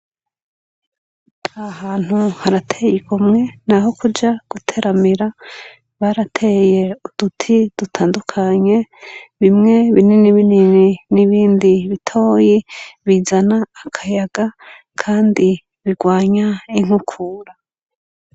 A hantu harateye i kumwe, naho kuja guteramira barateye uduti dutandukanye bimwe binini binini n'ibindi bitoyi bizana akayaga, kandi birwanya inkukura.